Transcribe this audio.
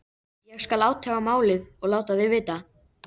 Ég: skal athuga málið og láta þig vita